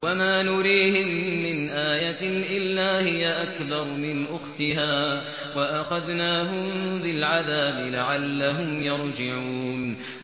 وَمَا نُرِيهِم مِّنْ آيَةٍ إِلَّا هِيَ أَكْبَرُ مِنْ أُخْتِهَا ۖ وَأَخَذْنَاهُم بِالْعَذَابِ لَعَلَّهُمْ يَرْجِعُونَ